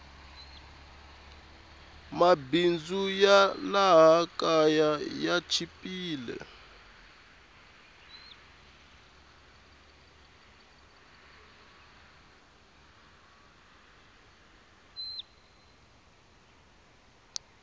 mabindzu ya laha kaya ya chipile